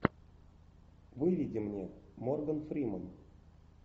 выведи мне морган фриман